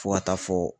Fo ka taa fɔ